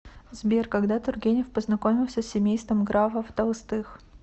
сбер когда тургенев познакомился с семейством графов толстых